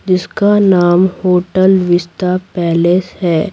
जिसका नाम hotel Vista palace है।